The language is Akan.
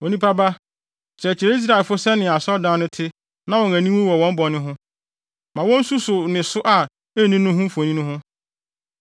“Onipa ba, kyerɛkyerɛ Israelfo sɛnea asɔredan no te na wɔn ani nwu wɔ wɔn bɔne ho. Ma wonsusuw ne so a enni no ho mfoni ho,